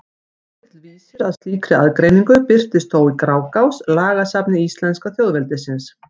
Svolítill vísir að slíkri aðgreiningu birtist þó í Grágás, lagasafni íslenska þjóðveldisins.